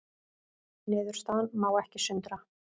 Niðurstaðan má ekki sundra